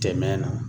Tɛmɛn na